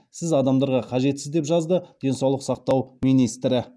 сіз адамдарға қажетсіз деп жазды денсаулық сақтау министрі